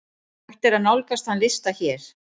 Hægt er nálgast þann lista hér.